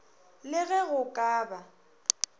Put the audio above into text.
le ge go ka ba